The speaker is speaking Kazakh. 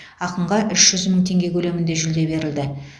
ақынға үш жүз мың теңге көлемінде жүлде берілді